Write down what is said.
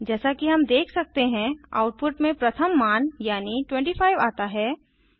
जैसा कि हम देख सकते हैं आउटपुट में प्रथम मान यानी 25 आता है